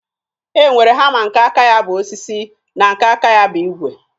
E nwere hama nke aka ya bụ osisi na nke aka ya bụ ígwè